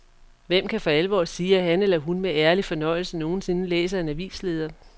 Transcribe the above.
Hvem kan for alvor sige, at han eller hun med ærlig fornøjelse nogensinde læser en avisleder.